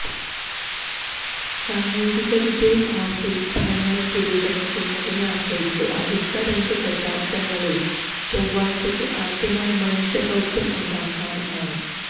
സാങ്കേതികവിദ്യയും ആസൂത്രണങ്ങളും പുരോഗമിക്കുന്നതിനെ ആശ്രയിച്ച് അടുത്ത രണ്ട് ദശാബ്ദങ്ങളിൽ ചൊവ്വയ്ക്ക് ആദ്യമായി മനുഷ്യ ദൌത്യം ഉണ്ടാകാമെന്നാണ്